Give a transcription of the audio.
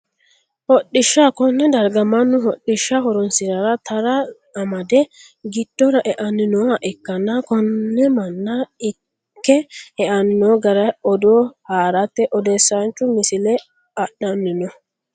hodhishsha, konne darga mannu hodhishsha horonsi'rarra tara amade giddora e'anni nooha ikkanna, konne manna ikke e'anni noo gara odoo harate odeessaanchu misile adhanni no.